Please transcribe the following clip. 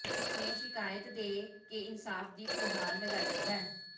ਉਸਨੇ ਸ਼ਿਕਾਇਤ ਦੇ ਕੇ ਇਨਸਾਫ਼ ਦੀ ਗੁਹਾਰ ਲਗਾਈ ਹੈ